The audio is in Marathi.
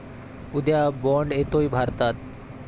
उद्या 'बाँड' येतोय भारतात